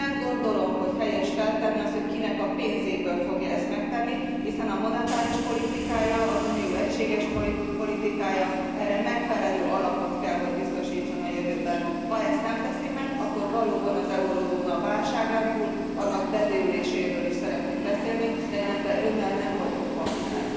Nem gondolom, hogy helyes feltenni azt, hogy kinek a pénzéből fogja ezt megtenni, hiszen az Unió monetáris politikája, egységes politikája erre megfelelő alapot kell, hogy biztosítson a jövőben. Ha ezt nem teszi meg, akkor valóban az eurózóna válságán túl annak bedőléséről is szeretnénk beszélni, de én ebben Önnel nem vagyok partner.